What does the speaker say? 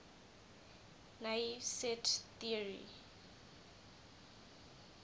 naive set theory